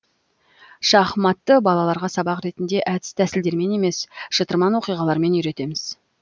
шахматты балаларға сабақ ретінде әдіс тәсілдермен емес шытырман оқиғалармен үйретеміз